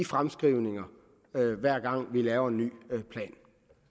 fremskrivningerne hver gang vi laver en ny plan